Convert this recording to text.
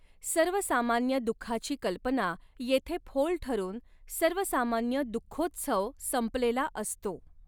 सर्वसामान्य दुःखाची कल्पना येथे फोल ठरून सर्वसामान्य दुःखोत्सव संपलेला असतो.